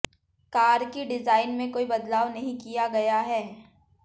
car की design में कोई बदलाव नहीं किया गया है